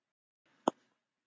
Er á gamla góða staðnum.